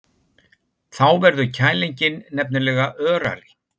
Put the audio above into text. Þá verður kælingin nefnilega örari.